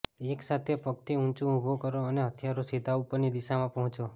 એક સાથે પગથી ઊંચું ઉભું કરો અને હથિયારો સીધા ઉપરની દિશામાં પહોંચો